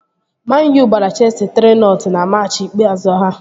Man-U gbara cheesi 3-nọt na machị ikpeazụ ha